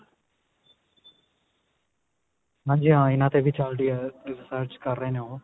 ਹਾਂਜੀ ਹਾਂ ਇਹਨਾ ਤੇ ਵੀ ਚੱਲਦੀ ਆ research ਕਰ ਹੇ ਨੇ ਉਹ